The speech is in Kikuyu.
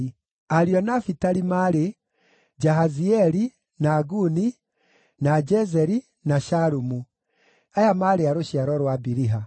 Ariũ a Nafitali maarĩ: Jahazieli, na Guni, na Jezeri, na Shalumu; aya maarĩ a rũciaro rwa Biliha.